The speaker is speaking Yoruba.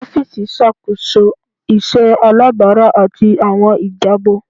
Ọfiisi ṣakoso iṣẹ alabara ati awọn ijabọ